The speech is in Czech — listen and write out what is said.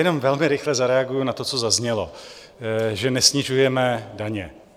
Jenom velmi rychle zareaguji na to, co zaznělo, že nesnižujeme daně.